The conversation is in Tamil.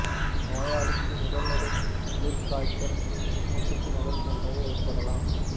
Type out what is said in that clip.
நோயாளிக்கு முதல் நிலை குளிர்காய்ச்சல் மூச்சு திணறல் போன்றவை ஏற்படலாம்